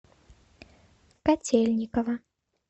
котельниково